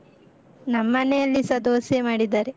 ನಮ್ಮನೆಲ್ಲಿಸ ದೋಸೆ ಮಾಡಿದ್ದಾರೆ.